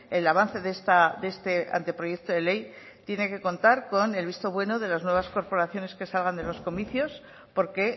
el avance de este anteproyecto de ley tienen que contar con el visto bueno de las nuevas corporaciones que salgan de los comicios porque